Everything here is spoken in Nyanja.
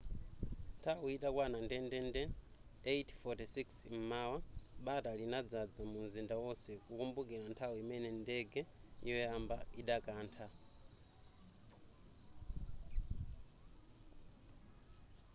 nthawi itakwana ndendende 8:46 m'mawa bata linadzadza munzinda onse kukumbukira nthawi imene ndege yoyamba idakantha